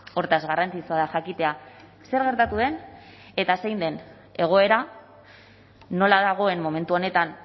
hortaz garrantzitsua da jakitea zer gertatu den eta zein den egoera nola dagoen momentu honetan